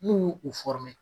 N'u y'u u